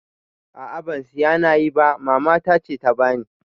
A'a ba siya nayi ba Mama tace ta bani